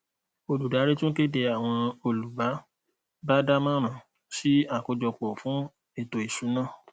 olùdarí tún kéde àwọn olú bá bá dá moran sì akojopo fún eto isuna